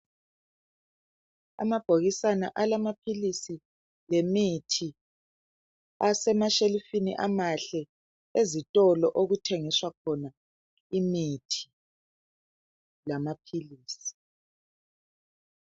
Amabhokisana alamaphilisi lemithi, asemashelufini amahle ezitolo okuthengiswa khona imithi lamaphilisi.